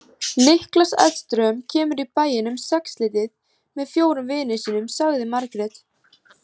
Niklas Edström kemur í bæinn um sexleytið með fjórum vinum sínum, sagði Margrét.